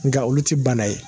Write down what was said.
Nka olu tɛ bana ye